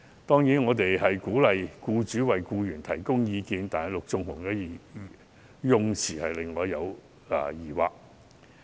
當然，我們鼓勵僱主為僱員提供培訓，但陸頌雄議員修正案的用詞卻令我有疑惑。